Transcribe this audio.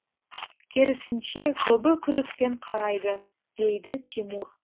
керісінше көбі күдікпен қарайды дейді тимур